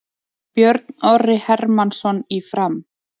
Björn Orri Hermannsson í Fram